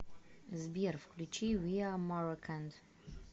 сбер включи виа мароканд